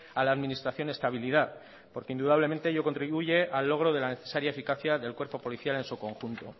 a la administración estabilidad porque indudablemente ello contribuye al logro de la necesaria eficacia del cuerpo policial en su conjunto